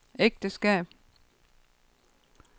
ægteskab